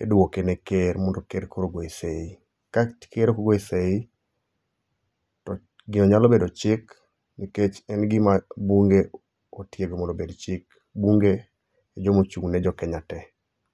idwoke ne Ker mondo Ker koro ogoye sei. Ka ker okogoye sei, to gino nyalo bedo chik nikech en gima bunge otiego mondo obed chik. Bunge e jomochung' ne Jokenya te.